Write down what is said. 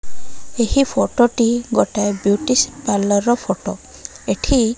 ଏହି ଫୋଟ ଟି ଗୋଟାଏ ବିୟୁଟି ସ୍ ପାର୍ଲର ର ଫଟୋ ଏଠି --